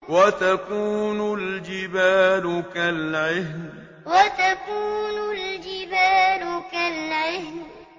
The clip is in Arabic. وَتَكُونُ الْجِبَالُ كَالْعِهْنِ وَتَكُونُ الْجِبَالُ كَالْعِهْنِ